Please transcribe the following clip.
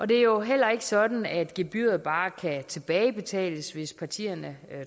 det er jo heller ikke sådan at gebyret bare kan tilbagebetales hvis partierne